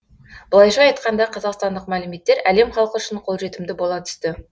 былайша айтқанда қазақстандық мәліметтер әлем халқы үшін қолжетімді бола түсті